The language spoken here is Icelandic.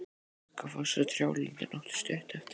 Við Gluggafoss og trjálundinn áttu stutt eftir.